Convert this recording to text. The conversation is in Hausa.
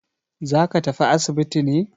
Za ka tafi asibiti ne?